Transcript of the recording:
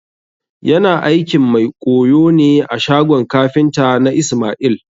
Yana aikin mai ƙoyo ne a shagon kafinta na ismail